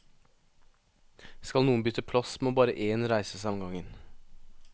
Skal noen bytte plass, må bare én reise seg om gangen.